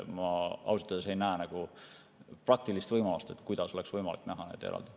Ma ausalt öeldes ei näe praktilist võimalust, kuidas oleks võimalik seda teha eraldi.